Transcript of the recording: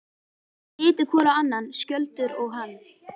Þeir litu hvor á annan, Skjöldur og hann.